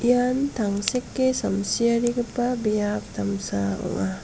ian tangseke samsiarigipa biap damsa ong·a.